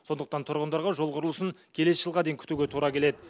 сондықтан тұрғындарға жол құрылысын келесі жылға дейін күтуге тура келеді